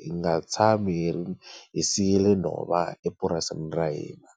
hi nga tshami hi ri hi siyile nhova epurasini ra hina.